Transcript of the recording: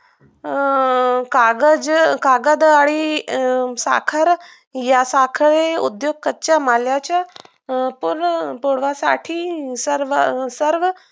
अं कागज कागद आणि अं साखर या साखरी उद्योग कच्च्या मालाच्या पूर्ण करण्यासाठी सर्व अं सर्व